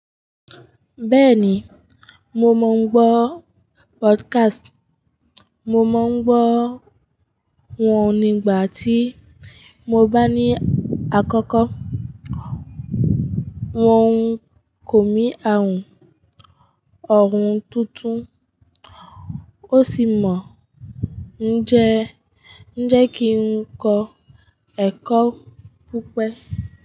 Bẹ́ẹ̀ni, mo mọ̀ ọ́n gbọ́ podcast. Mo mọ̀n n gbọ́ wọn nígbàtí mo bá ní àkọ́kọ́. Wọn ń kọ̀ mí àrùn ọ̀run tuntun, ó sì mọ̀n ń jẹ́ kí ń kọ́ ẹ̀kọ́ púpọ̀.